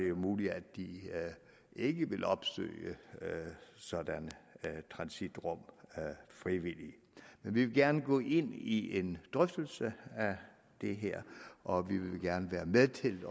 jo muligt at de ikke vil opsøge sådanne transitrum frivilligt men vi vil gerne gå ind i en drøftelse af det her og vi vil gerne være med til